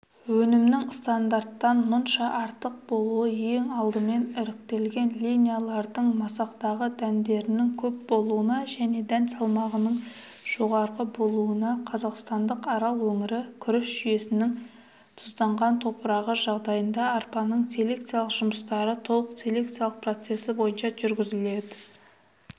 өнімнің стандарттан мұнша артық болуы ең алдымен іріктелген линиялардың масақтағы дәндерінің көп болуына және дән салмағының жоғары болуына